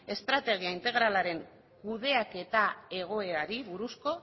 estrategia integralaren kudeaketa egoerari buruzko